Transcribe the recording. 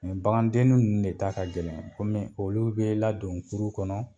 bagandenni ninnu de ta ka gɛlɛn kɔmi olu bɛ ladon kuru kɔnɔ